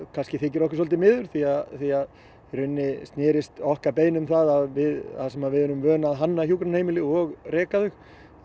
kannski þykir okkur svolítið miður því að því að í rauninni snerist okkar beiðni um það að þar sem við erum vön að hanna hjúkrunarheimili og reka þau